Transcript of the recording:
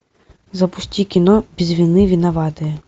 запусти кино без вины виноватые